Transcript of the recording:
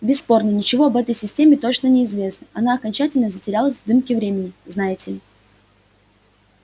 бесспорно ничего об этой системе точно не известно она окончательно затерялась в дымке времени знаете ли